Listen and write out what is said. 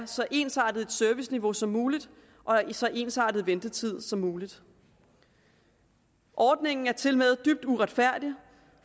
så ensartet serviceniveau som muligt og en så ensartet ventetid som muligt ordningen er tilmed dybt uretfærdig